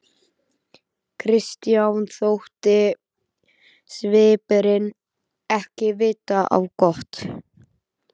Christian þótti svipurinn ekki vita á gott.